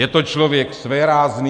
Je to člověk svérázný.